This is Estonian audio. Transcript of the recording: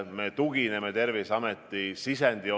Me tugineme Terviseameti sisendile.